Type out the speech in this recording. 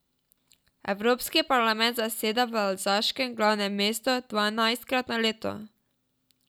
Evropski parlament zaseda v alzaškem glavnem mestu dvanajstkrat na leto.